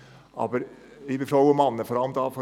Aber, liebe Frauen und Männer vor allem von der SVP: